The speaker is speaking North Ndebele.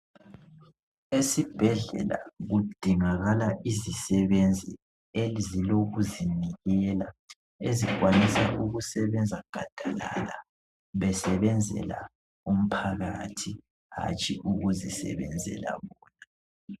Esibhedlela kudingakala izisebenzi ezilokuzinikela ezikwanisa ukusebenza gadalala besebenzela umphakathi hatshi ukuzisebenzela bona.